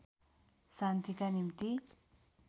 शान्तिका निम्ति